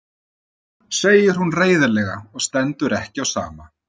segir hún reiðilega og stendur ekki á sama.